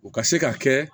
U ka se ka kɛ